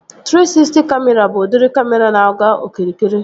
Trii Sisty Kamịra bụ udiri kamịra na-aga okirikiri